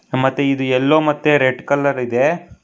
ಮತ್ತೆ ಇದು ಯಲ್ಲೋ ಮತ್ತೆ ರೆಡ್ ಕಲರ್ ಇದೆ.